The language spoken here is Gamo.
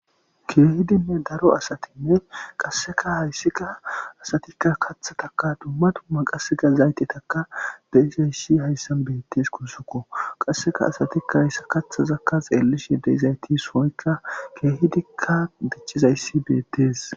Keehidinne daro asathi qaseka hayssika asatika kathataka dumma dumma qasseka zaytathaka beizayssi hayssan beetesikko guusiko qasseka asathika haysa kathazaka xeelizayathi sohanika keehidika dicizaythi beetees.